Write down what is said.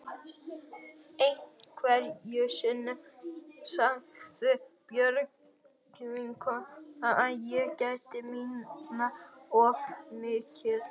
Einhverju sinni sagði Björg vinkona að ég gætti mín of mikið.